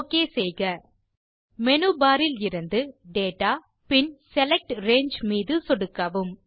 okay செய்க menu bar இலிருந்து data பின் செலக்ட் ரங்கே மீது சொடுக்கவும்